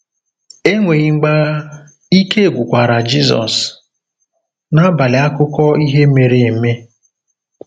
Ènwéghi mgbàghà, ìké gwúkwara Jizọ́s n’àbàlị̀ àkúkò ìhè méré émé.